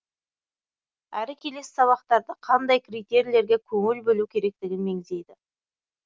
әрі келесі сабақтарда қандай критерийлерге көңіл бөлу керектігін меңзейді